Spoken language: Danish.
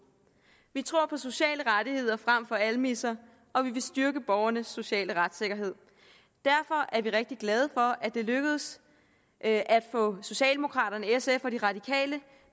vi tror på sociale rettigheder frem for almisser og vi vil styrke borgernes sociale retssikkerhed derfor er vi rigtig glade for at det lykkedes at få socialdemokraterne sf og de radikale